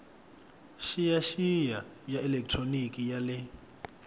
xiyaxiya ya elekitroniki ya le